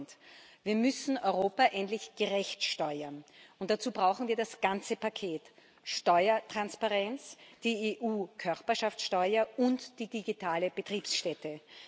10 Wir müssen Europa endlich gerecht besteuern, und dazu brauchen wir das ganze Paket Steuertransparenz, die EU Körperschaftsteuer und die digitale Betriebsstätte.